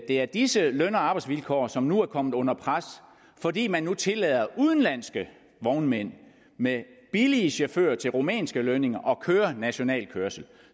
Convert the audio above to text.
er disse løn og arbejdsvilkår som er kommet under pres fordi man nu tillader udenlandske vognmænd med billige chauffører til rumænske lønninger at køre national kørsel